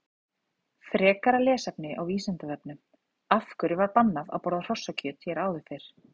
Frekara lesefni á Vísindavefnum: Af hverju var bannað að borða hrossakjöt hér áður fyrr?